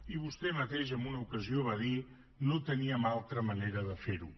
i vostè mateix en una ocasió va dir no teníem altra manera de fer ho